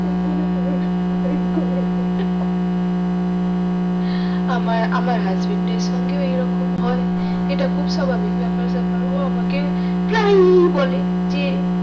ওই বললো এইরকম এইরকম আমার আমার husband আর সঙ্গে এই রকম হয় এইটা খুব স্বাবাভিক ব্যাপার স্যাপার ও আমাকে প্রায়ই বলে যে